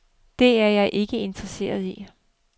Det er jeg ikke interesseret i.